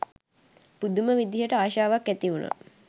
පුදුම විදිහට ආශාවක් ඇති වුණා